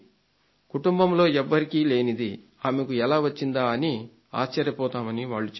కుటుంబంలో ఎవరికీ లేనిది ఆమెకు ఎలా వచ్చిందా అని ఆశ్చర్యపోతామని వాళ్లు చెప్పారు